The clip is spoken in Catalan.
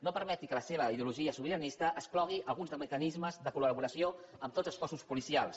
no permeti que la seva ideologia sobiranista exclogui alguns dels mecanismes de col·laboració amb tots els cossos policials